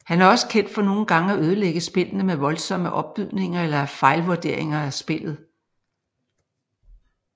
Han er også kendt for nogle gange at ødelægge spillene med voldsomme opbydninger eller fejlvuderinger af spillet